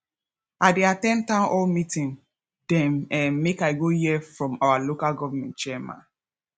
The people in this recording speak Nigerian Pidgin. i dey at ten d townhall meeting dem um make i go hear from our local government chairman